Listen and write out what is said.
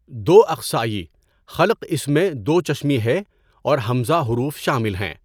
دو اقصیِٰ خلق اس میں ھ اور ء حروف شامل ہیں.